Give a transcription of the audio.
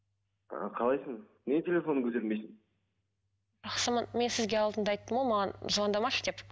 ы қалайсың неге телефоныңды көтермейсің жақсымын мен сізге алдында айттым ғой маған звондамашы деп